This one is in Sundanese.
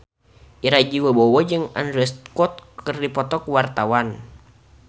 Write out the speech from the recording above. Ira Wibowo jeung Andrew Scott keur dipoto ku wartawan